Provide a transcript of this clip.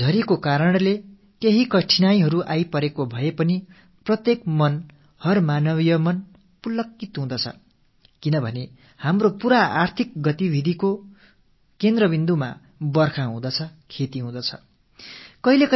மழை காரணமாக சில இடர்ப்பாடுகள் ஏற்பட்டிருந்தாலும் அவற்றையெல்லாம் தாண்டி ஒவ்வொரு மனித மனத்திலும் மலர்ச்சி ஏற்படுகிறது ஏனென்றால் நமது அனைத்து பொருளாதார செயல்பாடுகளின் மையப் புள்ளியாக மழை இருக்கிறது விவசாயம் இருக்கிறது